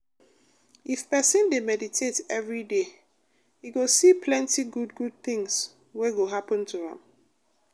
if person dey meditate every day e go see plenty good good things wey go happen to am.